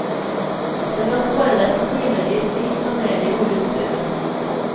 Det kan spare deg for timevis med installering og utprøving.